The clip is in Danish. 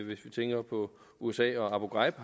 vi tænker på usa og abu ghraib